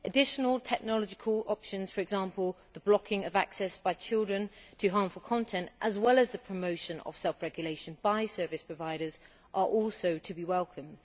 Additional technological options, for example the blocking of access by children to harmful content, as well as the promotion of self regulation by service providers, are also to be welcomed.